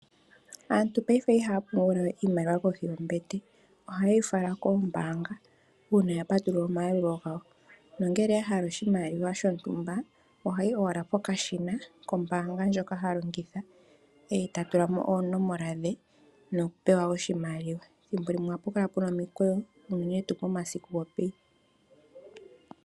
Aantu paife ihaya pungula we iiimaliwa koshi yoombete, ohayeyi fala kombaanga una ya patulula omayalulo gawo, nongele ahala oshimaliwa shontumba ohayi owala pokashina kombaanga ndjoka ha longitha, e ta tulamo oonomola dhe noku pewa oshimaliwa. Omathimbo gamwe ohapu kala pena omikweyo unene tu omasiku gopeyi.